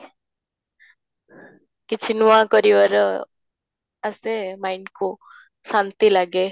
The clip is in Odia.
କିଛି ନୂଆ କରିବାର ଆସର mind କୁ ଶାନ୍ତି ଲାଗେ